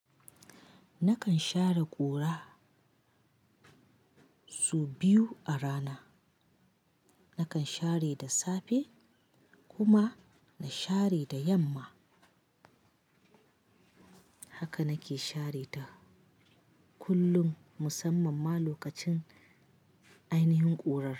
Nakan share ƙura su biyu a rana. Nakan share da safe kuma na share da yamma. Haka nake share ta kullum, musamman ma lokacin ainihin ƙurar.